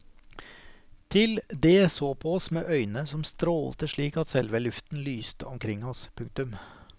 Til det så på oss med øyne som strålte slik at selve luften lyste omkring oss. punktum